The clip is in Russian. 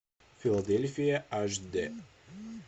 филадельфия аш дэ